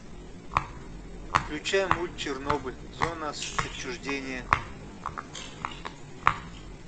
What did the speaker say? включай мульт чернобыль зона отчуждения